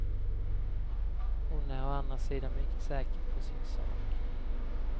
Hon är å andra sidan mycket säker på sin sak.